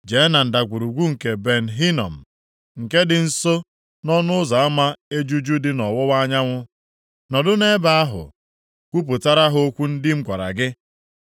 jee na Ndagwurugwu nke Ben Hinom, nke dị nso nʼọnụ ụzọ ama Ejuju dị nʼọwụwa anyanwụ. Nọdụ nʼebe ahụ kwupụtara ha okwu ndị m gwara gị.